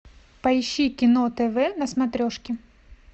поищи кино тв на смотрешке